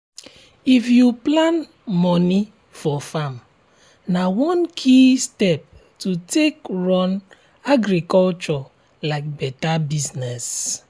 if you plan moni for farm na one key step to take run agriculture like better business.